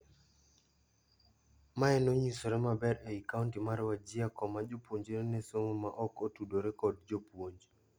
Mae nonyisore maber ei kaunti mar Wajir koma jopuonjre nesomo ma oko tudore kad jopuonj.